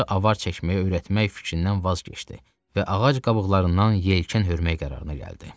Meymunları avar çəkməyə öyrətmək fikrindən vaz keçdi və ağac qabıqlarından yelkən hörməyə qərarına gəldi.